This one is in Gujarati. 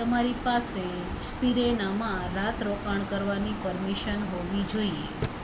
તમારી પાસે સિરેનામાં રાત રોકાણ કરવાની પરમિશન હોવી જોઈએ